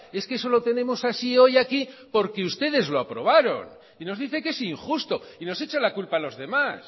es que eso lo tenemos así hoy aquí porque ustedes lo aprobaron y nos dice que es injusto y nos echa la culpa a los demás